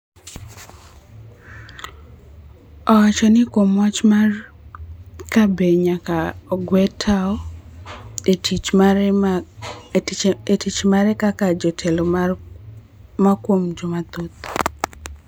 Owacho ni kuom wach mar ka be nyaka ogwe tao e tich mare kaka jatelo mar joma thoth